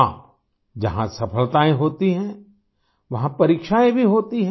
हाँ जहाँ सफलताएँ होती हैं वहाँ परीक्षाएँ भी होती हैं